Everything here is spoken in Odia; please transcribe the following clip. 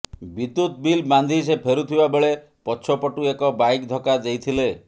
ବିଦ୍ୟୁତ୍ ବିଲ୍ ବାନ୍ଧି ସେ ଫେରୁଥିବା ବେଳେ ପଛପଟୁ ଏକ ବାଇକ୍ ଧକ୍କା ଦେଇଥିଲେ